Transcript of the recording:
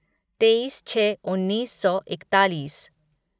तेईस छः उन्नीस सौ इकतालीस